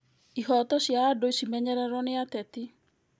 Ihoto cia andũ cimenyererwo nĩ ateti